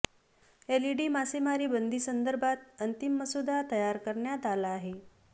LED मासेमारी बंदीसंदर्भात अंतिम मसुदा तयार करण्यात आला आहे